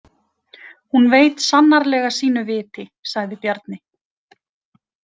Hún veit sannarlega sínu viti, sagði Bjarni.